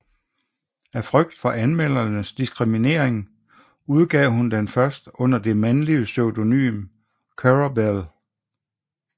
Af frygt for anmeldernes diskriminering udgav hun den først under det mandlige pseudonym Currer Bell